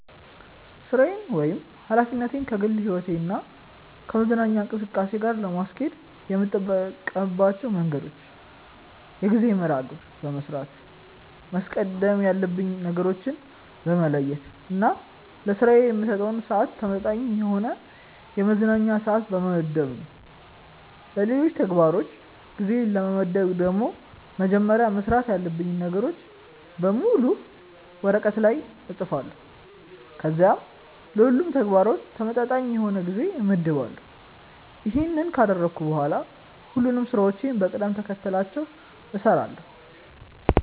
ሥራዬን ወይም ኃላፊነቴን ከግል ሕይወቴ እና ከመዝናኛ እንቅስቃሴ ጋር ለማስኬድ የምጠቀምባቸው መንገዶች የጊዜ መርሐ ግብር በመስራት፣ ማስቀደም ያሉብኝን ነገሮች በመለየት እና ለስራዬ ከምሰጠው ስዓት ተመጣጣኝ የሆነ የመዝናኛ ስዓት በመመደብ ነው። ለሌሎች ተግባሮች ጊዜ ለመመደብ ደግሞ መጀመሪያ መስራት ያሉብኝን ነገሮች በሙሉ ወረቀት ላይ እፅፋለሁ ከዚያም ለሁሉም ተግባራት ተመጣጣኝ የሆነ ጊዜ እመድባለሁ። ይሄንን ካደረግኩ በኋላ ሁሉንም ስራዎችን በቅደም ተከተላቸው እሰራለሁ።